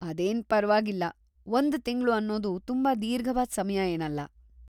ಅದೇನ್ ಪರ್ವಾಗಿಲ್ಲ, ಒಂದ್ ತಿಂಗ್ಳು ಅನ್ನೋದು ತುಂಬಾ ದೀರ್ಘವಾದ್ ಸಮಯ ಏನಲ್ಲ.